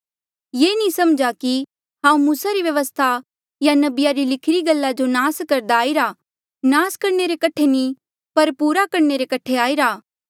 ये ना समझा कि हांऊँ मूसा री व्यवस्था या नबिया री लिखीरी गल्ला जो नास करदा आईरा नास करणे रे कठे नी पर पूरा करणे रे कठे आईरा